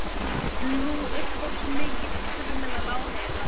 En nú upphófst mikill kurr meðal áheyrenda.